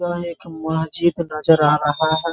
वह एक मस्जिद नजर आ रहा है ।